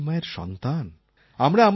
আমরা ধরিত্রী মায়ের সন্তান